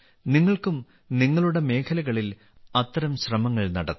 നിങ്ങൾക്കും നിങ്ങളുടെ മേഖലകളിൽ അത്തരം ശ്രമങ്ങൾ നടത്താം